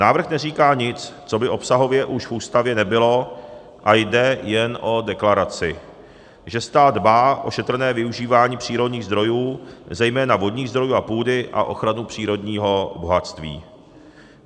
Návrh neříká nic, co by obsahově už v Ústavě nebylo, a jde jen o deklaraci, že stát dbá o šetrné využívání přírodních zdrojů, zejména vodních zdrojů a půdy a ochranu přírodního bohatství.